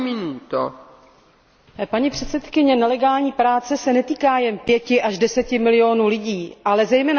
Paní předsedkyně, nelegální práce se netýká jen pěti až deseti milionů lidí, ale zejména těch, kteří je zaměstnávají.